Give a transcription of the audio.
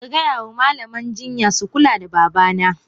Kagaya ma Malaman jinya su kula da babana.!